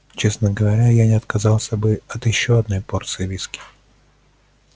честно говоря я не отказался бы от ещё одной порции виски